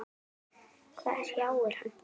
Hvað hrjáir hann?